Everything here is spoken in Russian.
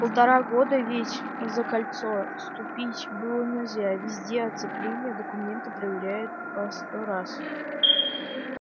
полтора года ведь за кольцо ступить было нельзя везде оцепление документы проверяют по сто раз